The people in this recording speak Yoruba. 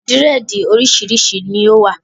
Dírẹ̀dì oríṣiríṣi ni ó wà